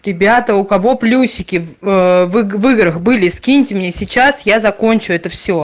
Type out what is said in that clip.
ребята у кого плюсики в играх были скиньте мне сейчас я закончу это все